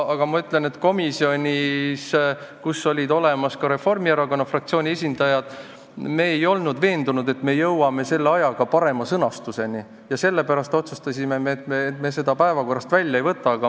Aga komisjonis, kus olid ka Reformierakonna fraktsiooni esindajad, ei olnud me veendunud, et me jõuame selle ajaga parema sõnastuse leida, ja sellepärast otsustasime, et me seda eelnõu päevakorrast välja ei võta.